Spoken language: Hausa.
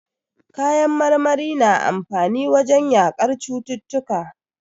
Kayan marmari na amfani wajen yaƙar cututtuka.